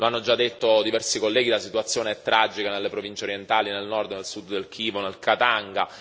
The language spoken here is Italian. Lo hanno già detto diversi colleghi la situazione è tragica nelle province orientali, nel nord e nel sud del Kivu, nel Katanga.